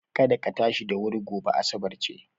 Kada ka tashi da wuri gobe, asabar ce.